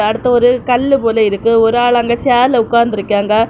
அடுத்து ஒரு கல்லு போல இருக்கு ஒரு ஆள் அங்க சேர்ல உக்காந்துருக்காங்க.